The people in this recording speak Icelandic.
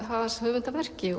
hans höfundarverki